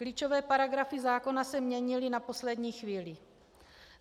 Klíčové paragrafy zákona se měnily na poslední chvíli.